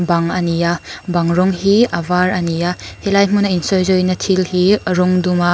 bang a ni a bang rawng hi a var a ni a helai hmuna insawi zawina thil hi rawng duma--